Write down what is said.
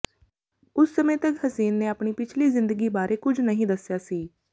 ਉਸ ਸਮੇਂ ਤਕ ਹਸੀਨ ਨੇ ਆਪਣੀ ਪਿਛਲੀ ਜ਼ਿੰਦਗੀ ਬਾਰੇ ਕੁਝ ਨਹੀਂ ਦੱਸਿਆ ਸੀ